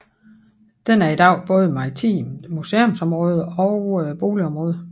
Den er i dag både maritimt museumsområde og boligområde